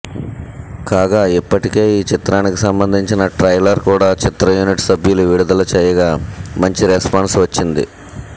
కాగా ఇప్పటికే ఈ చిత్రానికి సంబంధించిన ట్రైలర్ కూడా చిత్ర యూనిట్ సభ్యులు విడుదల చేయగా మంచి రెస్పాన్స్ వచ్చింది